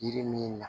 Yiri min na